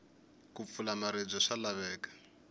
ku pfula maribye swa laveka